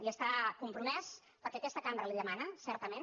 hi està compromès perquè aquesta cambra li ho demana certament